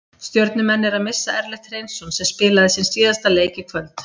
Stjörnumenn eru að missa Ellert Hreinsson sem spilaði sinn síðasta leik í kvöld.